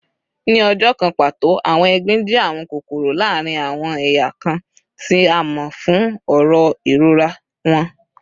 Ni ọjọ kan pato, awọn egbin jẹ awọn kokoro laarin awọn eya kan, ti a mọ fun oró irora wọn